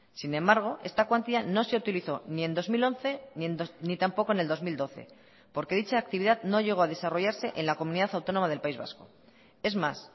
sin embargo esta cuantía no se utilizó ni en dos mil once ni tampoco en el dos mil doce porque dicha actividad no llego a desarrollarse en la comunidad autónoma del país vasco es más